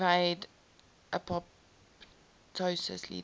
evade apoptosis leading